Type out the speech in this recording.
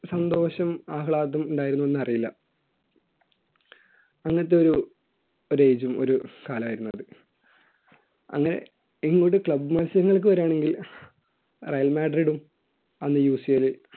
സന്തോഷം ആഹ്ളാദം ഉണ്ടായിരുന്നു എന്നറിയില്ല അങ്ങനത്തെ ഒരു age ഉം കാലമായിരുന്നു അത് അങ്ങനെ ഇങ്ങോട്ട് club മത്സരങ്ങൾക്ക് വരികയാണെങ്കിൽ റയൽ മാഡ്രിലും അന്ന UCL